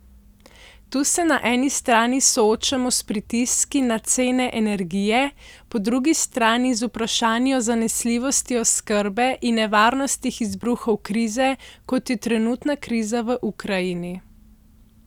Tu se na eni strani soočamo s pritiski na cene energije, po drugi strani z vprašanji o zanesljivosti oskrbe in nevarnostih izbruhov krize, kot je trenutna kriza v Ukrajini.